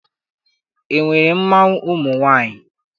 E nwere mmanwụ ụmụ nwaanyị?